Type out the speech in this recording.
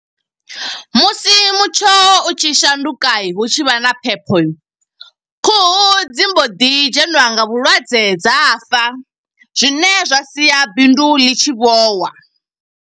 Musi mutsho u tshi shanduka, hu tshi vha na phepho. Khuhu dzi mbo ḓi dzheniwa nga vhulwadze dza fa, zwine zwa sia bindu ḽi tshi vhowa.